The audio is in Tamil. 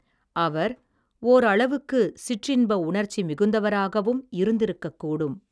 அவர் ஓர் அளவுக்கு சிற்றின்ப உணர்ச்சி மிகுந்தவராகவும் இருந்து இருக்க கூடும்.